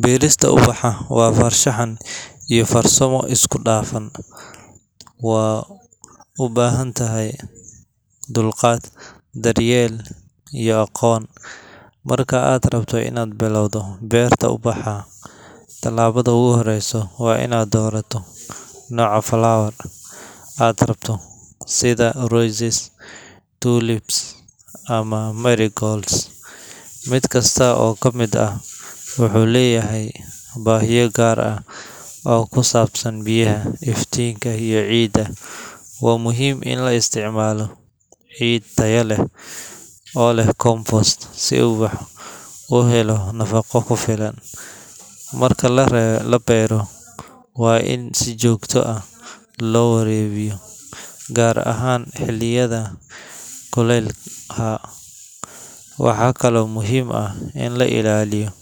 Beerista ubaxa waa barshaxan iyo farsamo dafan, waa ubahantahay dulqaad daryel iyo aqon, marka aad rabto in aad bilawdo beerta u baxa tilabadha ogu horeyso waa in aad dorato noca flower ka aad rabto sitha rozelle tulips ama mericols miid kasta oo kamiid ah, wuxuu leyahay bahiyo gaar ah oo kusabsan biyaha iyo ciida waa muhiim In lo isticmalo cid tayo leh oo leh compost u helo nafaqa ku filan, marka labero waa in si jogta ah lo warabiyo gaar ahan xiliyadha kulelka ah, waxaa kalo muhiim ah in lailaliyo